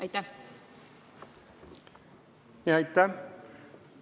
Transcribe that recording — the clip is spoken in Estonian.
Aitäh!